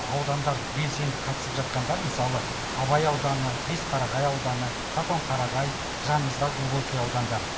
аудандар белсенді қатысып жатқандар мысалы абай ауданы бесқарағай ауданы қатонқарағай жанымыздағы глубокий аудандары